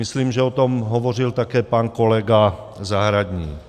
Myslím, že o tom hovořil také pan kolega Zahradník.